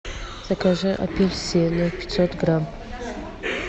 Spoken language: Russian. закажи апельсины пятьсот грамм